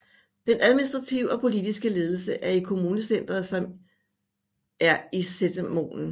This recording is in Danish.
Den administrative og politiske ledelse er i kommunecenteret som er Setermoen